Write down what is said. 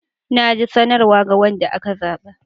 Na ji sanarwa ga wanda aka zaba.